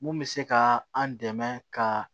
Mun bɛ se ka an dɛmɛ ka